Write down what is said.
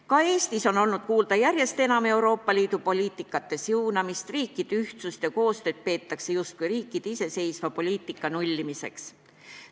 Ka Eestis on olnud järjest enam kuulda Euroopa Liidu poliitika siunamist, riikide ühtsust ja koostööd peetakse justkui riikide iseseisva poliitika nullimiseks.